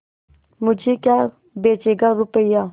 मुझे क्या बेचेगा रुपय्या